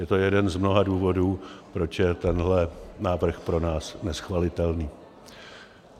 Je to jeden z mnoha důvodů, proč je tento návrh pro nás neschvalitelný.